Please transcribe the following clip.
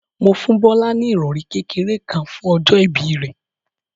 Mo fún Bọ́lá ní ìrọ̀rí kékeré kan fún ọjọ́ ìbí rẹ̀.